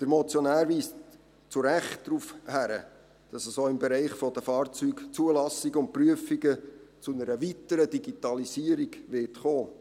Der Motionär weist zu Recht darauf hin, dass es auch im Bereich der Fahrzeugzulassungen und -prüfungen zu einer weiteren Digitalisierung kommen wird.